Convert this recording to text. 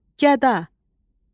Gəda.